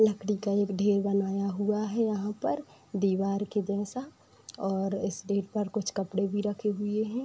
लकड़ी का एक ढेर बनाया हुआ है यहाँ पर दीवार के जैसा और इस ढेर पर कुछ कपड़े भी रखे हुए हैं |